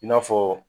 I n'a fɔ